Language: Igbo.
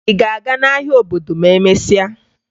Ị ga-aga n'ahịa obodo ma emesịa?